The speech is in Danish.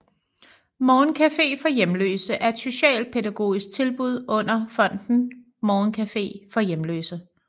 Morgencafé for Hjemløse er et socialpædagogisk tilbud under Fonden Morgencafé for Hjemløse